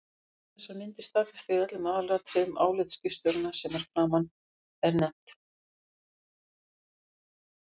Þessar myndir staðfesta í öllum aðalatriðum álit skipstjóranna sem að framan er nefnt.